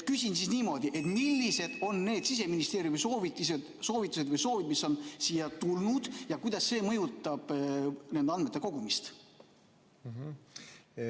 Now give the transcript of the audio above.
Küsin siis niimoodi: millised on need Siseministeeriumi soovitused või soovid, mis on siia tulnud, ja kuidas see mõjutab nende andmete kogumist?